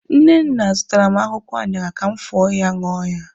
Nnenna zụtaara m akwụkwọ aṅara ka m fọọ ya ṅụọ ya.